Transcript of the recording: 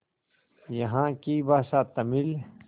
यहाँ की भाषा तमिल